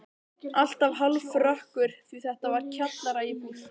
Alltaf hálfrökkur því þetta var kjallaraíbúð.